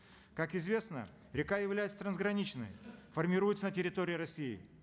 как известно река является трансграничной формируется на территории россии